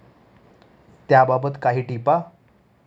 त्याबाबत काही टिपा